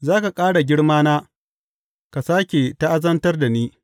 Za ka ƙara girmana ka sāke ta’azantar da ni.